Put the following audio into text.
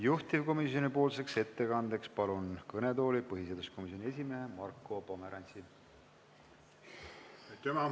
Juhtivkomisjoni ettekandeks palun kõnetooli põhiseaduskomisjoni esimehe Marko Pomerantsi!